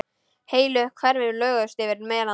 Heilu hverfin lögðust yfir melana.